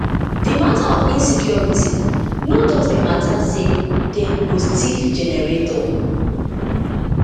di mata of insecurity no just be mata say dem go thief generator